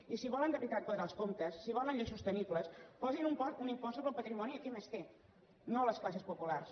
i si volen de veritat quadrar els comptes si volen lleis sostenibles posin un impost sobre el patrimoni a qui més té no a les classes populars